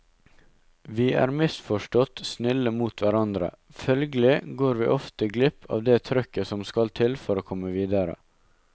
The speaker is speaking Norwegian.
Vi er misforstått snille mot hverandre, følgelig går vi ofte glipp av det trøkket som skal til for å komme videre.